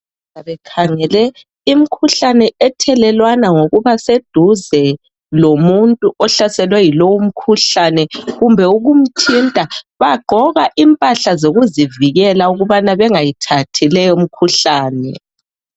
Abakhangele imikhuhlane ethelelwana ngokuba seduze lomuntu ohlaselwe yilomkhuhlana kumbe ukumthinta bagqoka imphahla zokuzivukela ukubana bangayithengi umkhuhlane.